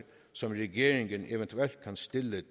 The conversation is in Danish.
som regeringen eventuelt kan stille